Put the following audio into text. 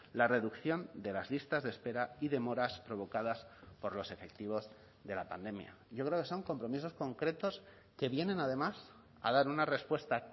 la reducción de las listas de espera y demoras provocadas por los efectivos de la pandemia yo creo que son compromisos concretos que vienen además a dar una respuesta